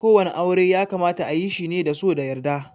Ko wani aure ya kamata ayi shi ne da so da yarda.